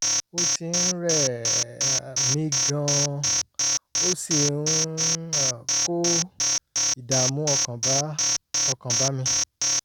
ó ti ń rẹ̀ um mí gan-an ó sì um ń kó ìdààmú ọkàn bá ọkàn bá mi